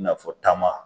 I n'a fɔ taama